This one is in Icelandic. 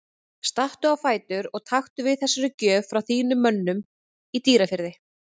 Stattu á fætur og taktu við þessari gjöf frá þínum mönnum í Dýrafirði.